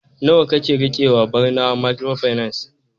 nawa kake rikewa Barnawa microfinance